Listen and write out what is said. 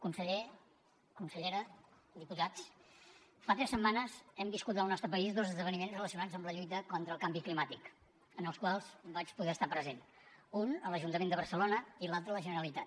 conseller consellera diputats fa tres setmanes hem viscut al nostre país dos esdeveniments relacionats amb la lluita contra el canvi climàtic en els quals vaig poder estar present un a l’ajuntament de barcelona i l’altre a la generalitat